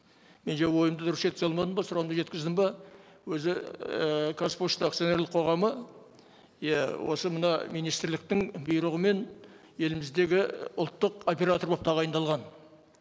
мен жаңа ойымды дұрыс жеткізе алмадым ба сұрағымды жеткіздім бе өзі ііі қазпошта акционерлік қоғамы иә осы мына министрліктің бұйрығымен еліміздегі ұлттық оператор болып тағайындалған